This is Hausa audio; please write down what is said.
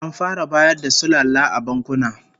An fara bayar da sulalla a bankuna